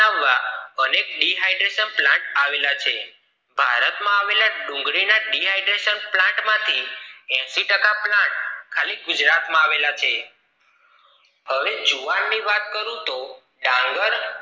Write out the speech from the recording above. અને Dihydration plant આવેલા છે ભારતઆવેલા ડુંગળી ના Dihydration plant માંથી એશી ટકા plant ખાલી ગુજરાત માં આવેલા છે હવે જુવાર ની વાત કરું તો ડાંગર